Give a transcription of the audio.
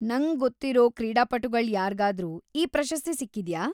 ನಂಗ್‌ ಗೊತ್ತಿರೋ ಕ್ರೀಡಾಪಟುಗಳ್ ಯಾರ್ಗಾದ್ರೂ ಈ ಪ್ರಶಸ್ತಿ ಸಿಕ್ಕಿದ್ಯಾ?